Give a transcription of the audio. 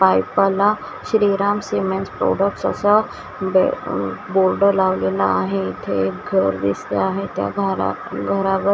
पायपाला Shriram cements products असं बे board लावलेला आहे इथे एक घर दिसते आहे त्या घरात घरावर--